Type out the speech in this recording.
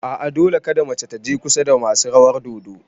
A'a, Dole kada mace taje kusa da masu rawar dodo